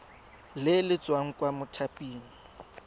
le le tswang kwa mothaping